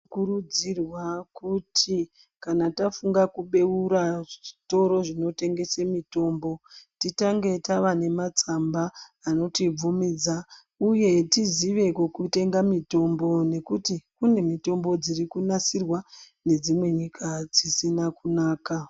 Tinokurudzirwa kuti kana tafunga kubeura zvitoro zvinotengese mitombo titange tava nematsamba anotibvumidza uye tizive kokutenga mutombo nekuti kune mitombo dziri kunasirwa nedzimwe nyika dzisina kunaka.